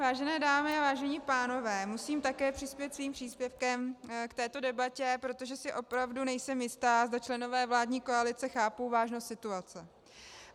Vážené dámy a vážení pánové, musím také přispět svým příspěvkem k této debatě, protože si opravdu nejsem jista, zda členové vládní koalice chápou vážnost situace.